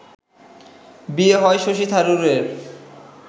বিয়ে হয় শশী থারুরের